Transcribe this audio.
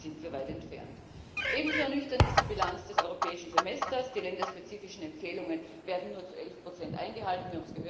Davon sind wir weit entfernt. Ebenso ernüchternd ist die Bilanz des Europäischen Semesters Die länderspezifischen Empfehlungen werden nur zu elf Prozent eingehalten.